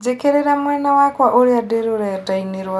njĩkĩrĩra mwena wakwa ũrĩa ndĩ rũredaĩnĩ rwakwa rwa Instagram